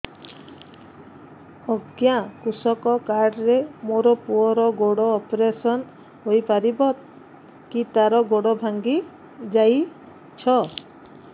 ଅଜ୍ଞା କୃଷକ କାର୍ଡ ରେ ମୋର ପୁଅର ଗୋଡ ଅପେରସନ ହୋଇପାରିବ କି ତାର ଗୋଡ ଭାଙ୍ଗି ଯାଇଛ